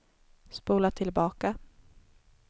spola tillbaka